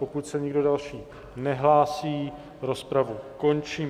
Pokud se nikdo další nehlásí, rozpravu končím.